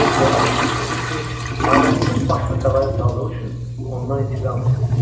Dönə-dönə tapşırdı ki, ailəmizin başını bəlaya saldığı üçün ondan intiqam alım.